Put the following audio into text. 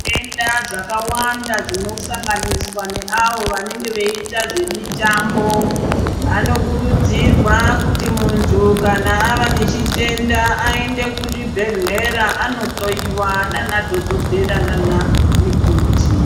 Zvitenda zvakawanda zvinosanganiswa neavo vanenge veiita zvemitambo vanokurudzirwa kuti muntu kana ava nechitenda aende kuzvibhedhlera anohloiwa naana dhogodhera naana mikoti.